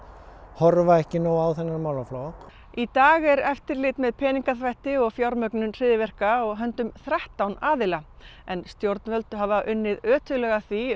horfa ekki nóg á þennan málaflokk í dag er eftirlit með peningaþvætti og fjármögnun hryðjuverka á höndum þrettán aðila en stjórnvöld hafa undanfarin unnið ötullega að því